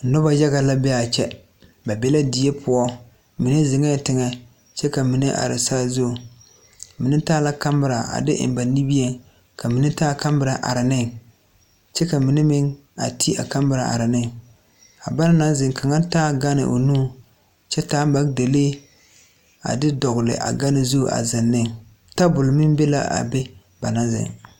Noba yaga la bee aa kyɛ ba be la die poɔ mine zeŋɛɛ teŋɛ kyɛ ka mine are saazuŋ mine taa la kamira a de eŋ ba nimieŋ ka mine taa kamira are neŋ kyɛ ka mine meŋ a te a kamira are neŋ a ba naŋ naŋ zeŋ kaŋa taa gane o nuŋ kyɛ taa magdalee a de dɔgle a gane zu a zeŋ ne tabol meŋ be la be ba naŋ zeŋ.